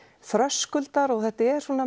þröskuldar og þetta er